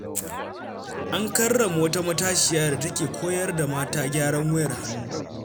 An karrama wata matashiya da ta ke koyar da mata gyaran wayar hannu.